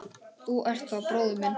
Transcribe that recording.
Þú ert þá bróðir minn.